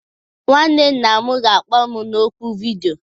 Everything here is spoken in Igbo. Nwanne nna m ga-akpọ m na ọ́kụ vidiyo.